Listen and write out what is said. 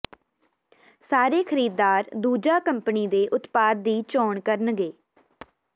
ਸਾਰੇ ਖਰੀਦਦਾਰ ਦੂਜਾ ਕੰਪਨੀ ਦੇ ਉਤਪਾਦ ਦੀ ਚੋਣ ਕਰਨਗੇ